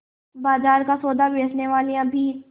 बाजार का सौदा बेचनेवालियॉँ भी